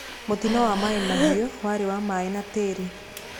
Mũtino wa Mai Mahiu warĩ wa maĩ na tĩri.